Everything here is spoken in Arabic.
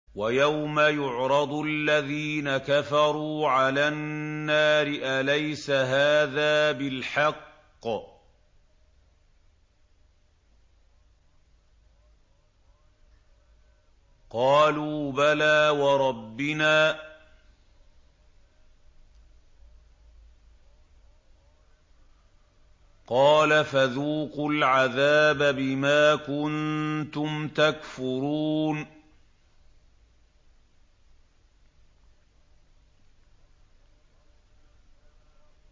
وَيَوْمَ يُعْرَضُ الَّذِينَ كَفَرُوا عَلَى النَّارِ أَلَيْسَ هَٰذَا بِالْحَقِّ ۖ قَالُوا بَلَىٰ وَرَبِّنَا ۚ قَالَ فَذُوقُوا الْعَذَابَ بِمَا كُنتُمْ تَكْفُرُونَ